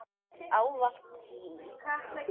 Ávallt hlý.